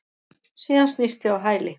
Síðan snýst ég á hæli.